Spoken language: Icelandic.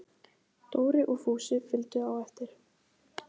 Dóri og Fúsi fylgdu á eftir.